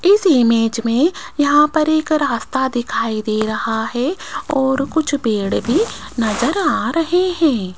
इस इमेज में यहां पर एक रास्ता दिखाई दे रहा है और कुछ पेड़ भी नजर आ रहे हैं।